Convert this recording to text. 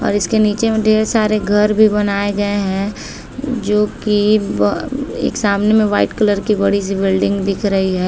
और इसके नीचे में ढ़ेर सारे घर भी बनाये गए है जो की ब एक सामने में वाइट कलर की बड़ी-सी बिल्डिंग दिख रही है।